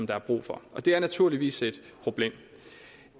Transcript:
der er brug for det er naturligvis et problem